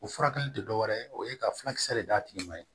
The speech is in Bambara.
O furakɛli tɛ dɔ wɛrɛ ye o ye ka furakisɛ de d'a tigi ma